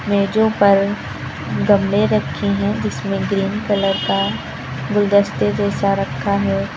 मेजों पर गमले रखे हैं जिसमे ग्रीन कलर का गुलदस्ते जैसा रखा है।